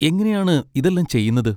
എങ്ങനെയാണ് ഇതെല്ലാം ചെയ്യുന്നത്?